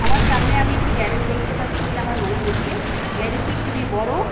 আমার সামনে আমি একটি গ্যারেজ দেখতে পাচ্ছি বলে আমার মনে হচ্ছে গ্যারেজ টি খুবই বড়--